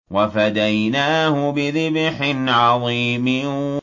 وَفَدَيْنَاهُ بِذِبْحٍ عَظِيمٍ